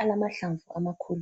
alamahlamvu amakhulu.